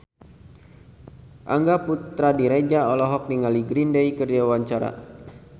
Angga Puradiredja olohok ningali Green Day keur diwawancara